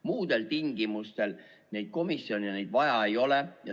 Muudel tingimustel neile neid komisjone vaja ei ole.